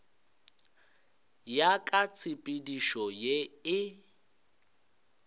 ya ka tshepedišo ye e